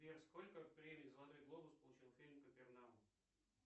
сбер сколько премий золотой глобус получил фильм капернаум